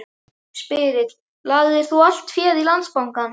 Spyrill: Lagðir þú allt féð í Landsbankann?